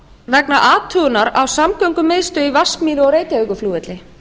vegna athugunar á samgöngumiðstöð í vatnsmýri og reykjavíkurflugvelli